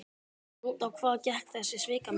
En út á hvað gekk þessi svikamylla?